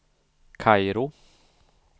Kairo